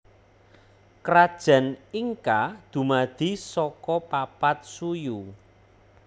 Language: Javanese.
Krajan Inka dumadi saka papat suyu